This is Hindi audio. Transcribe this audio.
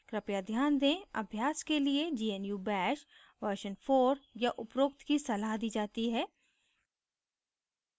कृपया ध्यान दें अभ्यास के लिए gnu bash version 4 या उपरोक्त की सलाह दी जाती है